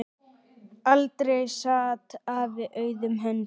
Aldrei sat afi auðum höndum.